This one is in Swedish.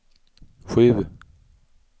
sju